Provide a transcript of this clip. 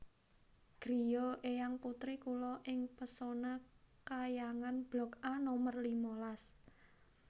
griya eyang putri kula ing Pesona Khayangan blok A nomer lima las